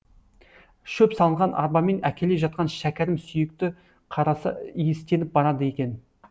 шөп салынған арбамен әкеле жатқанда шәкәрім сүйекті қараса иістеніп барады екен